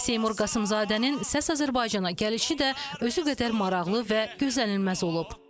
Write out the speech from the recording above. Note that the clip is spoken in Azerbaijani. Seymur Qasımzadənin Səs Azərbaycana gəlişi də özü qədər maraqlı və gözlənilməz olub.